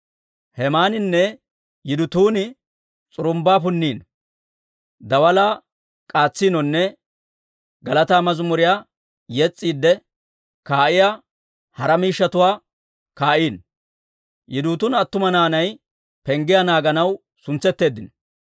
Hemaaninne Yidutuuni s'urumbbaa punniino, daalaa k'aatsiinonne galataa mazimuriyaa yes's'iidde kaa'iyaa hara miishshatuwaa kaa'iino. Yidutuuna attuma naanay penggiyaa naaganaw suntsetteeddino.